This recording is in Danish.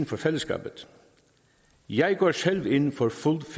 for fællesskabet jeg går selv ind for fuld